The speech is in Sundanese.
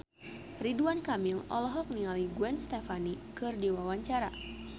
Ridwan Kamil olohok ningali Gwen Stefani keur diwawancara